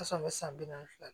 san bi naani fila